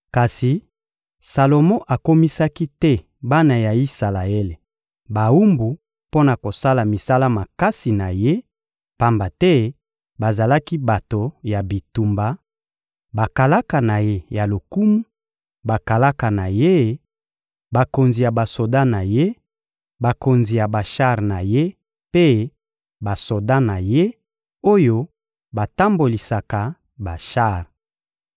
Kasi Salomo akomisaki te bana ya Isalaele bawumbu mpo na kosala misala makasi na ye, pamba te bazalaki bato ya bitumba, bakalaka na ye ya lokumu, bakalaka na ye, bakonzi ya basoda na ye, bakonzi ya bashar na ye mpe ya basoda na ye, oyo batambolisaka bashar.